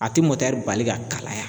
A tie cs] bali ka kalaya